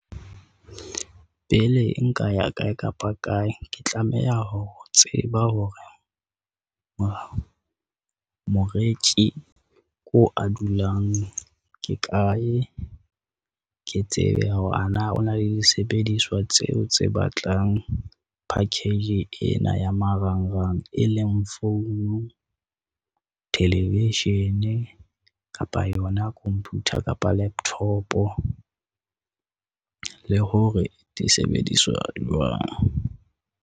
Pele nka ya kae kapa kae ke tlameha ho tseba hore moreki moo a dulang ke kae. Ke tsebe hore a na o na le disebediswa tseo tse batlang package ena ya marangrang. E leng founu, television kapa yona computer kapa laptop, le hore di sebediswa jwang.